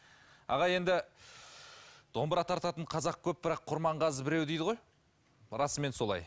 аға енді домбыра тартатын қазақ көп бірақ құрманғазы біреу дейді ғой расымен солай